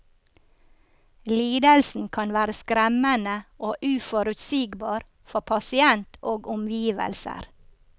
Lidelsen kan være skremmende og uforutsigbar for pasient og omgivelser.